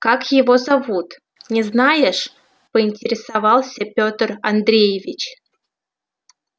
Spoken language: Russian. как его зовут не знаешь поинтересовался петр андреевич